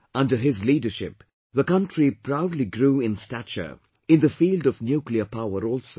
Under his leadership, the country proudly grew in stature in the field of nuclear power also